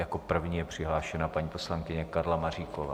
Jako první je přihlášena paní poslankyně Karla Maříková.